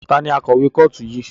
Ta ni akọ̀wé kọ́ọ̀tù yìí?